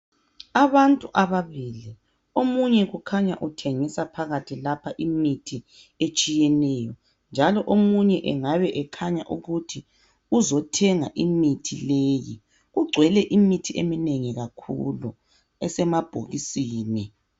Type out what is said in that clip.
Abantu ababili omunye kukhanya uthengisa phakathi lapha imithi etshiyeneyo njalo omunye engabe ekhanya ukuthi uzothenga imithi leyi kugcwele imithi eminengi kakhulu esemabhokisini.